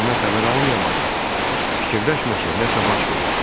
Məndən xəbər almayanda da fikirləşmə ki, nəsə baş verib.